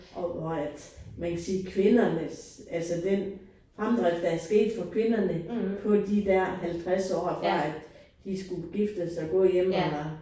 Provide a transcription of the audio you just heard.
Og og at man kan sige kvindernes altså den fremdrift der er sket for kvinderne på de der 50 år fra at de skulle giftes og gå hjemme eller